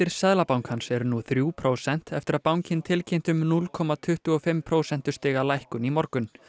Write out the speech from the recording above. Seðlabankans eru nú þrjú prósent eftir að bankinn tilkynnti um núll komma tuttugu og fimm prósentustiga lækkun í morgun